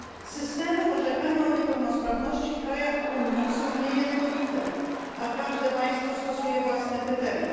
Systemy orzekania o niepełnosprawności w krajach Unii są niejednolite, a każde państwo stosuje własne kryteria.